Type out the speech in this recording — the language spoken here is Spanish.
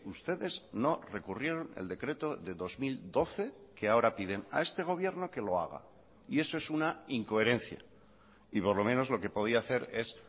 ustedes no recurrieron el decreto de dos mil doce que ahora piden a este gobierno que lo haga y eso es una incoherencia y por lo menos lo que podía hacer es